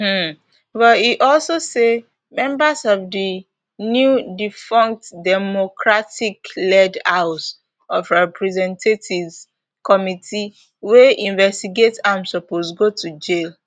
um but e also say members of di nowdefunct democraticled house of representatives committee wey investigate am suppose go to jail